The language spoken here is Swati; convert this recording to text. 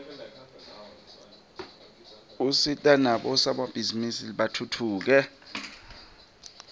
usita nabosomabhizinisi batfutfuke